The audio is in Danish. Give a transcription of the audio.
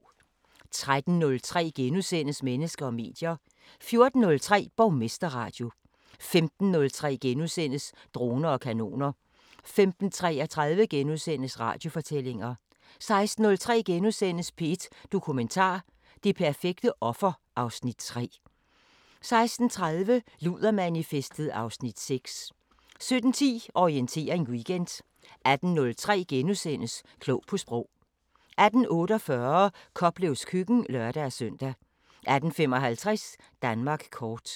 13:03: Mennesker og medier * 14:03: Borgmesterradio 15:03: Droner og kanoner * 15:33: Radiofortællinger * 16:03: P1 Dokumentar: Det perfekte offer (Afs. 3)* 16:30: Ludermanifestet (Afs. 6) 17:10: Orientering Weekend 18:03: Klog på Sprog * 18:48: Koplevs Køkken (lør-søn) 18:55: Danmark kort